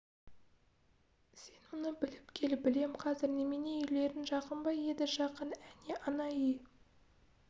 сен соны біліп кел білем қазір немене үйлерің жақын ба еді жақын әне ана үй